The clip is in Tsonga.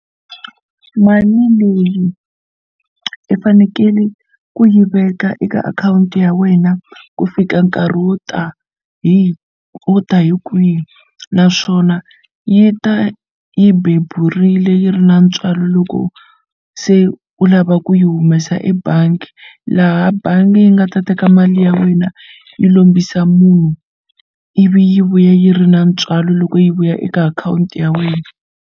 Mali leyi i fanekele ku yi veka eka akhawunti ya wena ku fika nkarhi wo ta hi wo ta hi kwihi naswona yi ta yi beburile yi ri na ntswalo loko se u lava ku yi humesa ebangi laha bangi yi nga ta teka mali ya wena yi lombisa munhu ivi yi vuya yi ri na ntswalo loko yi vuya eka akhawunti ya wena.